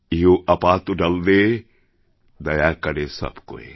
ইহ আপা তো ডাল দে দয়া করে সব কোয়